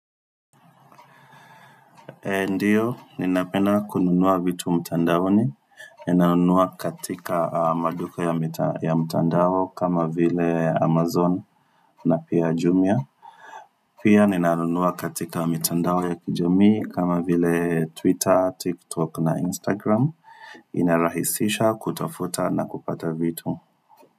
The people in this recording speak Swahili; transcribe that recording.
Ndio, ninapenda kununua vitu mtandaoni, ninanunua katika maduka ya mtandao kama vile Amazon na pia Jumia Pia ninanunua katika mtandao ya kijamii kama vile Twitter, TikTok na Instagram, inarahisisha kutafuta na kupata vitu.